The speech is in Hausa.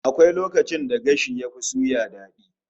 Akwai lokacin da gashi yafi suya dadi